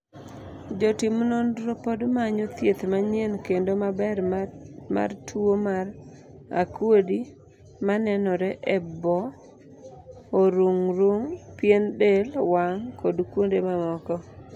jotim nonro pod manyo thieth manyien kendo maber mar tuo mar akuodi manenore e obo, orung' rung, pien del wang kuod kuonde mamoko